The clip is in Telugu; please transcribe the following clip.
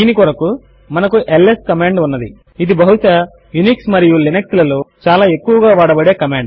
దీని కొరకు మనకు ల్స్ కమాండ్ ఉన్నది ఇది బహుశా యూనిక్స్ మరియు లినక్స్ లలో చాలా ఎక్కువగా వాడబడే కమాండ్